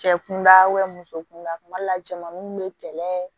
Cɛ kunda muso kunda kuma dɔ la cɛmaninw bɛ kɛlɛ